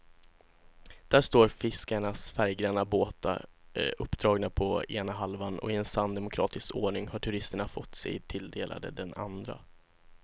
Där står fiskarnas färggranna båtar uppdragna på ena halvan och i sann demokratisk ordning har turisterna fått sig tilldelade den andra.